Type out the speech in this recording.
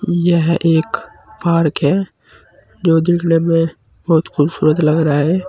यह एक पार्क है जो देखने में बहुत खूबसूरत लग रहा है।